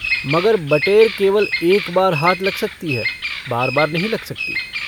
मगर बटेर केवल एक बार हाथ लग सकती है बारबार नहीं लग सकती।